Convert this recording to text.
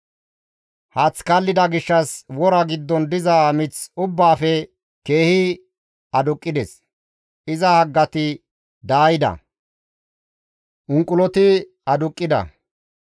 Haath kallida gishshas wora giddon diza mith ubbaafe, keehi aduqqides; iza haggati daayida; unquloti aduqqida.